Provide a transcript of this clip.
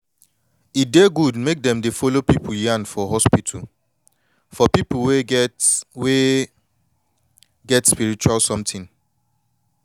e dey good make dem dey follow people yan for hospital for people wey get wey get spiritual something